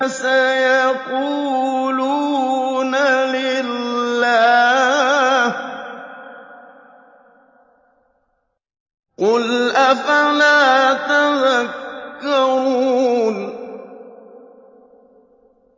سَيَقُولُونَ لِلَّهِ ۚ قُلْ أَفَلَا تَذَكَّرُونَ